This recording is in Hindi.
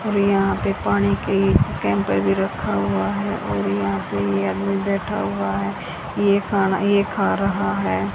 और यहां पे पानी की कैम्पर भी रखा हुआ है और यहां पे ये आदमी बैठा हुआ है ये यह खाना ये खा रहा है।